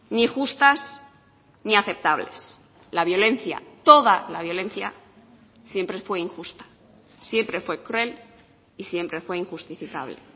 ni justas ni aceptables la violencia toda la violencia siempre fue injusta siempre fue cruel y siempre fue injustificable